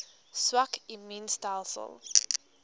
swak immuun stelsels